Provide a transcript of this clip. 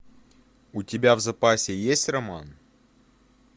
у тебя в запасе есть роман